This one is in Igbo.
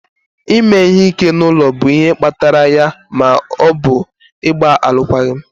ime ihe ike n'ụlọ bụ ihe kpatara ya ma ọ bụ ịgba alụkwaghịm.